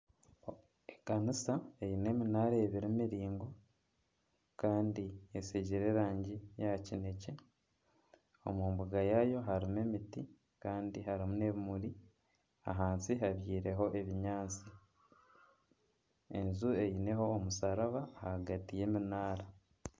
Ekanisa eine eminaara ebiri emiraingwa kandi etsigire erangi ya kinekye omu mbuga yaayo harimu emiti kandi harimu n'ebimuri ahansi habyirweho ebinyaatsi enju eineho omusharaba ahagati y'eminaara.